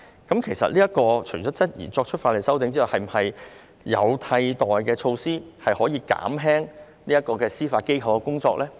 我們除了質疑這項法例修訂外，亦質疑是否有其他替代措施可以減輕司法機構的工作呢？